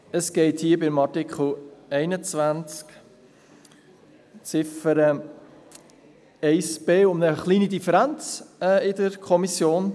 Es geht bei Artikel 21 Ziffer 1b um eine kleine Differenz in der Kommission.